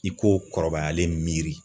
I k'o kɔrɔbayalen miiri.